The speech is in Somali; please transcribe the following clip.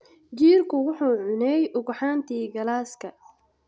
Jiirku wuxuu cunay ugxantii galaaska.